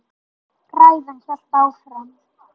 Ræðan hélt áfram: